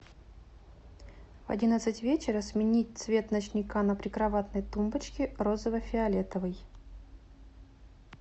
в одиннадцать вечера сменить цвет ночника на прикроватной тумбочке розово фиолетовый